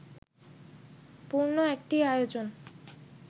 পূর্ণ একটি আয়োজন